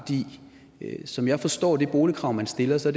som jeg forstår det boligkrav man stiller så